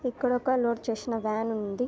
ఇక్కడ ఒక్క లోడ్ చేసిన వ్యాన్ ఉంది.